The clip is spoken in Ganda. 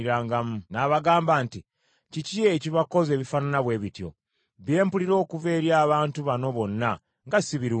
N’abagamba nti, “Kiki ekibakoza ebifaanana bwe bityo? Bye mpulira okuva eri abantu bano bonna nga si birungi.